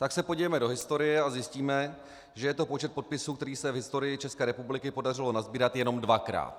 Tak se podívejme do historie a zjistíme, že je to počet podpisů, který se v historii České republiky podařilo nasbírat jenom dvakrát.